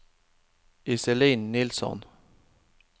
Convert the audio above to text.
Iselin Nilsson